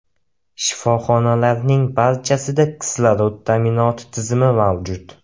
Shifoxonalarning barchasida kislorod ta’minoti tizimi mavjud.